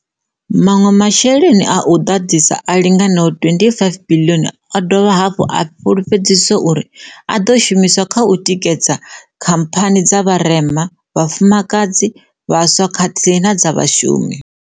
Maṅwe masheleni a u ḓadzisa a linganaho R25 biḽioni o dovha hafhu a fhulufhedziswa uri a ḓo shumiswa kha u tikedza khamphani dza vharema, vhafumakadzi, vhaswa khathihi na dza vhashumi.